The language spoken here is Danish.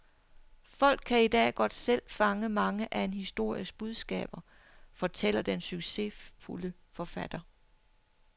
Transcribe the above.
Folk kan i dag godt selv fange mange af en histories budskaber, fortæller den succesfulde forfatter.